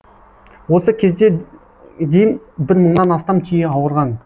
осы кезде дейін бір мыңнан астам түйе ауырған